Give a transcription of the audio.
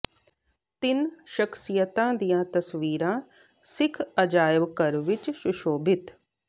ਤਿੰਨ ਸ਼ਖ਼ਸੀਅਤਾਂ ਦੀਆਂ ਤਸਵੀਰਾਂ ਸਿੱਖ ਅਜਾਇਬ ਘਰ ਵਿੱਚ ਸੁਸ਼ੋਭਿਤ